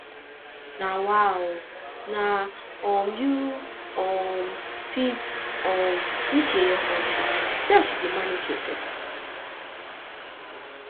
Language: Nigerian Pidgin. nawa ooo na um you um fit um dis yeye country see as you dey manage yourself